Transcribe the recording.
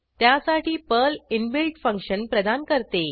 त्यासाठी Perl inbuilt function प्रदान करते